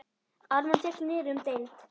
Ármann féll niður um deild.